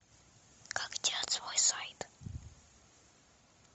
как делать свой сайт